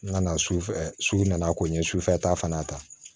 N nana sufɛ su nana ko n ye sufɛ ta fana ta